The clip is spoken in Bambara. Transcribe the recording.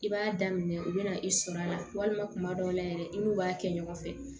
I b'a daminɛ u bɛna i sɔrɔ a la walima kuma dɔw la yɛrɛ i n'u b'a kɛ ɲɔgɔn fɛ